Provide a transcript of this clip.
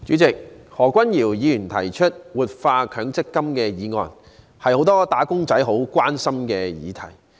主席，何君堯議員提出的"活化強制性公積金"議案是很多"打工仔"關心的議題。